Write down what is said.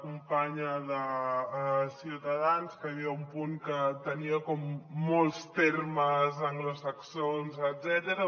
companya de ciutadans que hi havia un punt que tenia com molts termes anglosaxons etcètera